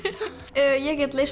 ég get leyst